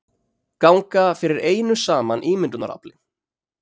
Ganga fyrir einu saman ímyndunarafli.